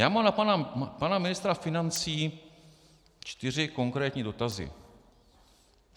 Já mám na pana ministra financí čtyři konkrétní dotazy.